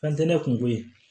Ka di ne kungo ye